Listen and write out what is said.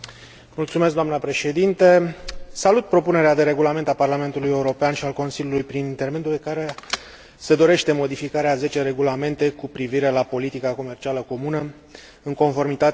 Salut propunerea de regulament al Parlamentului European și al Consiliului, prin intermediul căruia se dorește modificarea a zece regulamente cu privire la politica comercială comună, în conformitate cu prevederile Tratatului de la Lisabona.